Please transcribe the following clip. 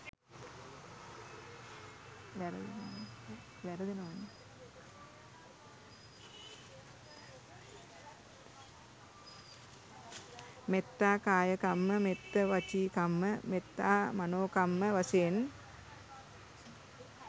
මෙත්තා කාය කම්ම, මෙත්ත වචීකම්ම, මෙත්තා මනෝකම්ම වශයෙන්